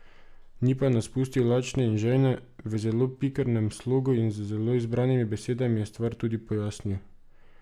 Ni pa nas pustil lačne in žejne, v zelo pikrem slogu in z zelo izbranimi besedami je stvar tudi pojasnil.